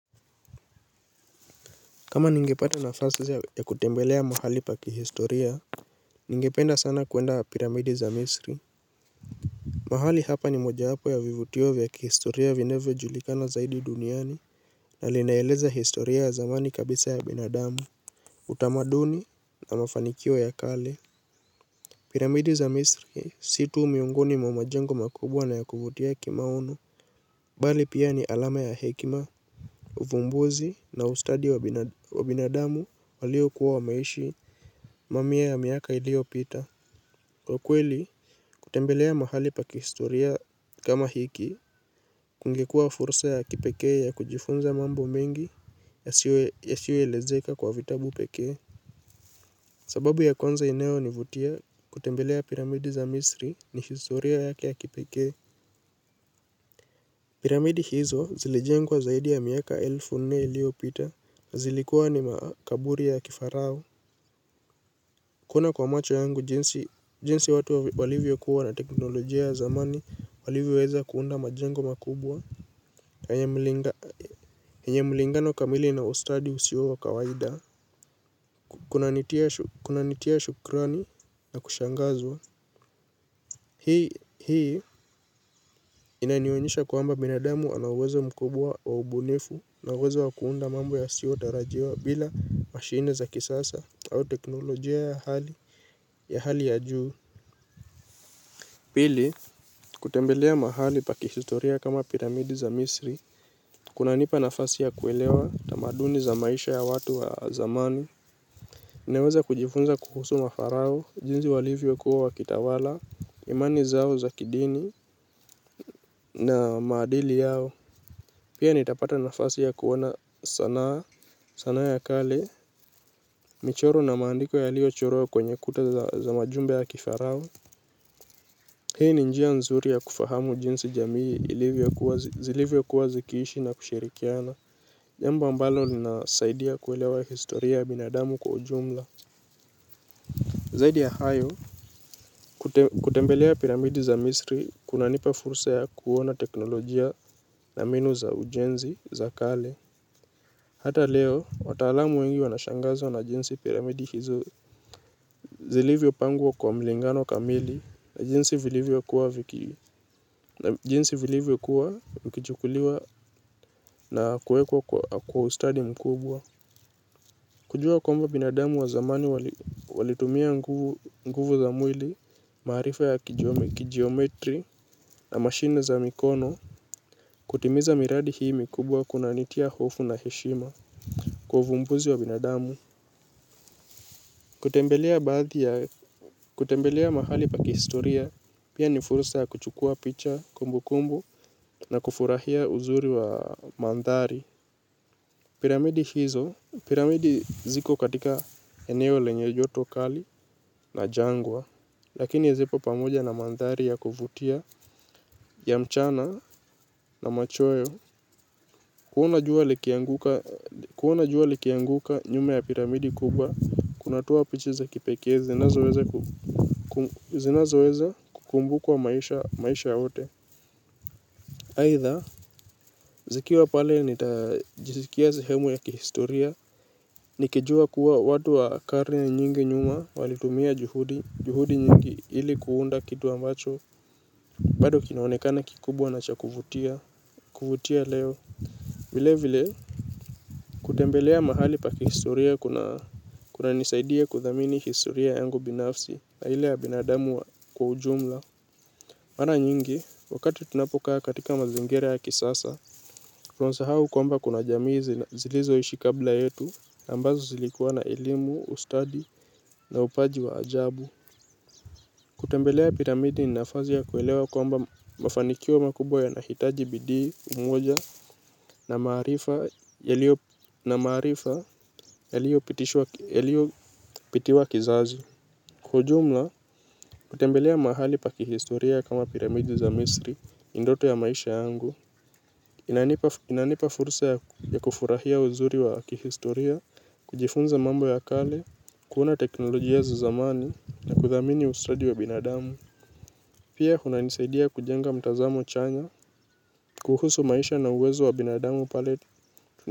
Kama ningepata nafasi ya kutembelea mahali pa kihistoria ningependa sana kuenda wa piramidi za misri. Mahali hapa ni moja wapo ya vivutio vya kihistoria vinavyo julikana zaidi duniani. Na linaeleza historia ya zamani kabisa ya binadamu. Utamaduni na mafanikio ya kale piramidi za misri si tu miungoni mamajengo makubwa na ya kuvutia kimaono. Bali pia ni alama ya hekima. Uvumbuzi na ustadi wa binadamu walio kuwa wameishi mamia ya miaka ilio pita kwa kweli kutembelea mahali pa kihistoria kama hiki kungekua fursa ya kipeke ya kujifunza mambo mengi. Yasioelezeka kwa vitabu peke sababu ya kwanza inayo ni vutia kutembelea piramidi za misri ni historia yake ya kipeke. Piramidi hizo zilijengwa zaidi ya miaka elfu nne iliopita. Zilikuwa ni makaburi ya kifarao. Kuona kwa macho yangu jinsi watu walivyo kuwa na teknolojia ya zamani walivyo weza kuunda majengo makubwa na yenye mlingano kamili na ustadi usio wa kawaidaa. Kuna nitia shukurani na kushangazwa. Hii inanionyesha kuamba binadamu ana uwezo mkubwa wa ubunifu na uwezo wakuunda mambo ya siotarajiwa bila mashine za kisasa au teknolojia ya hali ya juu. Pili, kutembelea mahali pakihistoria kama piramidi za misri kunanipa nafasi ya kuwelewa tamaduni za maisha ya watu wa zamani. Naweza kujifunza kuhusu mafarao, jinzi walivyo kuwa wakitawala, imani zao za kidini na maadili yao. Pia nitapata nafasi ya kuona sanaa ya kale, michoro na maandiko yalio chorwa kwenye kuta za majumba ya kifarao. Hii ni njia nzuri ya kufahamu jinsi jamii zilivyo kuwa zikiishi na kushirikiana. Jambo ambalo ninaaidia kuelewa historia binadamu kwa ujumla. Zaidi ya hayo, kutembelea piramidi za misri, kunanipa fursa ya kuona teknolojia na mbinu za ujenzi, za kale. Hata leo, wataalamu wengi wanashangazwa na jinsi piramidi hizo. Zilivyo pangwa kwa mlingano kamili na jinsi vilivyo kuwa viki. Na jinsi vilivyo kuwa, ukichukuliwa na kuwekwa kwa ustadi mkubwa. Kujua kwamba binadamu wa zamani walitumia nguvu za mwili. Maarifa ya kijome, kijometri na mashine za mikono kutimiza miradi hii mikubwa kunanitia hofu na heshima. Kwa uvumbuzi wa binadamu kutembelea mahali pa kihistoria pia ni furusa ya kuchukua picha kumbu kumbu na kufurahia uzuri wa mandhari piramidi hizo, piramidi ziko katika eneo lenye joto kali na jangwa, lakini zipo pamoja na mandhari ya kuvutia, ya mchana na machweo. Kuona jua likianguka nyume ya piramidi kubwa, kunatoa pichi za kipekee zinazoweza kukumbukwa maisha yote. Haitha, zikiwa pale nitajizikia sehemu ya kihistoria, nikijua kuwa watu wa karne nyingi nyuma walitumia juhudi, juhudi nyingi ili kuunda kitu ambacho, bado kinaonekana kikubwa na cha kuvutia, kuvutia leo, vile vile kutembelea mahali pa kihistoria kuna nisaidia kudhamini historia yangu binafsi, na ile ya binadamu kwa ujumla. Mara nyingi, wakati tunapokaa katika mazingira ya kisasa, tunasa hau kwamba kuna jamii zina zilizo ishi kabla yetu, ambazo zilikuwa na elimu, ustadi na upaji wa ajabu. Kutembelea piramidi ni nafasi ya kuelewa kwamba mafanikio makubwa yanahitaji bidii, umoja na maarifa yalio pitiwa kizazi. Kwa ujumla, kutembelea mahali pa kihistoria kama piramidi za misri, ni ndoto ya maisha yangu, inanipa fursa ya kufurahia uzuri wa kihistoria kujifunza mambo ya kale kuona teknolojia za zamani na kuthamini ustadi wa binadamu pia kuna nisaidia kujenga mtazamo chanya kuhusu maisha na uwezo wa binadamu pale.